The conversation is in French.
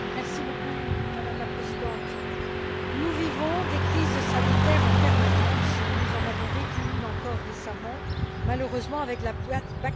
Madame la Présidente, nous vivons des crises sanitaires en permanence, et nous en avons vécu une, encore récemment, malheureusement, avec la bactérie E.